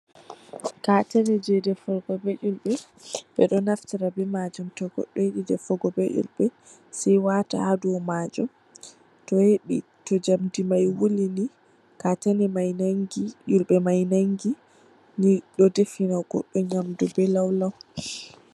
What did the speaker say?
"Katane"je dafirgo ɓe ilɓe ɓeɗo naftira ɓe majum to goɗɗo yiɗi defirgo ɓe ilɓe se wata ha dou majum to yiɗi to jam ɗi mai wulini ilɓe nangi ɗo de fina goɗɗo nyamdu ɓe laulau.